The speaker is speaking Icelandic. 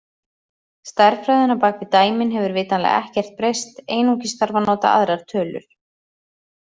Stærðfræðin á bak við dæmin hefur vitanlega ekkert breyst, einungis þarf að nota aðrar tölur.